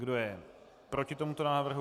Kdo je proti tomuto návrhu?